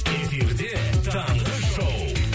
эфирде таңғы шоу